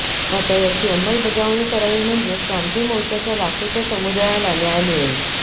आता याची अंमलबजावणी करावी म्हणजेच क्रांती मोर्चाच्या लाखोच्या समुदायाला न्याय मिळेल